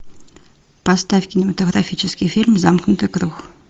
поставь кинематографический фильм замкнутый круг